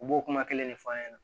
U b'o kuma kelen de f'a ɲɛna